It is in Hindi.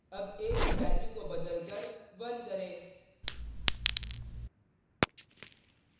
अब a की वैल्यू को बदलकर 1 करें